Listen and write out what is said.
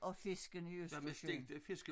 Og fiskene i Østersøen